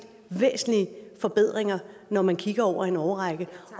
væsentlige forbedringer når man kigger over en årrække